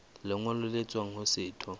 lengolo le tswang ho setho